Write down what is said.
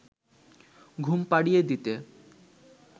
ঘুম পাড়িয়ে দিতে